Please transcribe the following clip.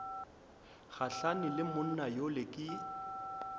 gahlane le monna yola ke